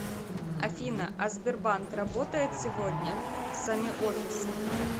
афина а сбербанк работает сегодня сами офисы